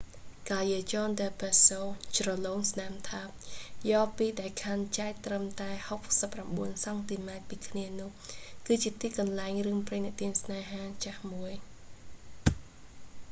callejon del beso ជ្រលងស្នាមថើប យ៉រពីរដែលខណ្ឌចែកត្រឹមតែ 69 សង់ទីម៉ែត្រពីគ្នានោះគឺជាទីកន្លែងរឿងព្រេងនិទានស្នេហាចាស់មួយ